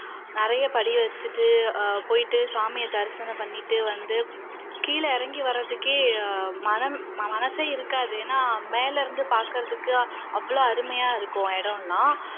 நிறைய படி வச்சுட்டு போயிட்டு சாமிய தரிசனம் பண்ணிட்டு வந்து கீழ இறங்கி வர்றதுக்கே மனம் மனசே இருக்காது ஏன்னா இருந்து பாக்கிறதுக்கு அவ்வளவு அருமையா இருக்கும் இடம் எல்லாம்